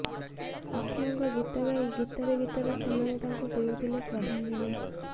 ଅକ୍ଷୟଙ୍କ ଗୀତ ଗାଇ ଗୀତରେ ଗୀତରେ ସେମାନେ ତାଙ୍କୁ ଦେଉଥିଲେ ଶ୍ରଦ୍ଧାଞ୍ଜଳି